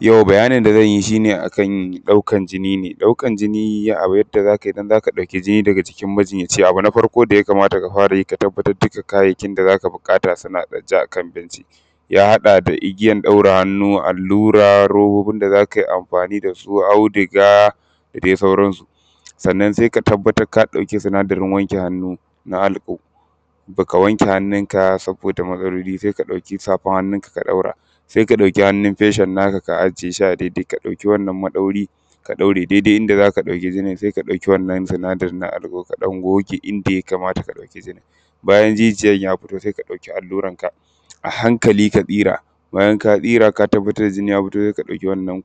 yau bayanin da zan yi shi ne akan ɗaukan jini ne ɗaukan jini ne, ɗaukan jini yadda za ka yi ka ɗauki jini daga jikin majinya:ci, abu na farko da ya kamata ka fara yi, ka tabbatar kayayyakin da za ka buƙata suna ajiye akan benci ya haɗa da igiyan ɗaure hannu, allura, robobin da za ka yi: amfani da su, audiga, da dai sauransu. Sannan sai ka tabbatar ka ɗauki sinadarin wanke hannu na alfo, ba ka wanke hannun ka saboda maɗauri. Sai ka ɗauki safar hannun ka ka ɗaura, sai ka ɗauki hannun feshin naka ka ajiye shi a dai-dai ka ɗauki wannan maɗauri, ka ɗaure dai-dai inda za ka ɗauki jinin. Sai ka ɗauki wannan sinadarin naka na alfo, ka ɗan goge inda ya kamata ka ɗauki jinin, bayan jijiyan ya fito, sai ka ɗauki alluran ka a hankali ka tsira. Bayan ka tsira, ka tabbatar jini ya fito sai ka ɗauki wannan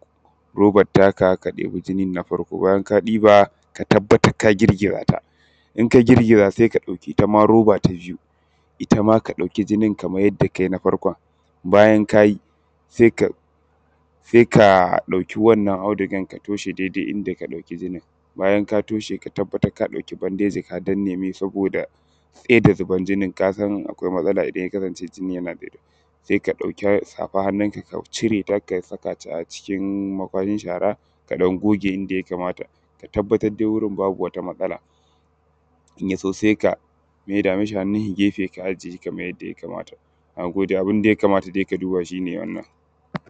roban taka, ka ɗebi jinin na farko, bayan ka ɗiba, ka tabbatar ka girgira ta, in ka girgiza sai ka ɗauki ita ma roba ta biyu, ita ma ka ɗauki jinin kaman yadda ka yi: na farkon. bayan ka yi:, sai ka ɗuka wannan audigan ka toshe dai-dai inda ka ɗauki jinin. Bayan ka toshe, ka tabbatar ka ɗauki bandeji, ka danne saboda sai da zuban jinin ka ga akwai matsala idan ya kasance jini yana ɗiga, sai ka ɗauka safar hannun ka ka cire, don ka sa a kashin shara. Ka ɗan goge inda ya kamata, ka tabbatar dai, wurin babu wata matsala in yaso, sai ka maida mu shi hannun shi gefe, ka ajiye kaman yadda ya kamata. Na gode, abun dai da ya kamata ka duba shi ne wannan.